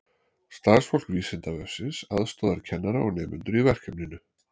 Starfsfólk Vísindavefsins aðstoðar kennara og nemendur í verkefninu.